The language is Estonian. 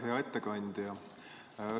Hea ettekandja!